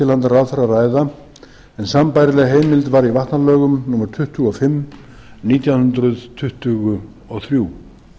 ráðherra að ræða en sambærileg heimild var í vatnalögum númer á tuttugu og fimm nítján hundruð tuttugu og þrjú